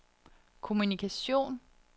kommunikation